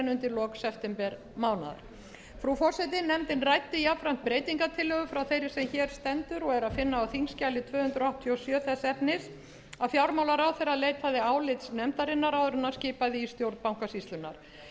undir lok septembermánaðar frú forseti nefndin ræddi jafnframt breytingartillögu frá þeirri sem hér stendur og er að finna á þingskjali tvö hundruð áttatíu og sjö þess efnis að fjármálaráðherra leitaði álits nefndarinnar áður en hann skipaði í stjórn bankasýslunnar